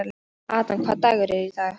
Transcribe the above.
Adam, hvaða dagur er í dag?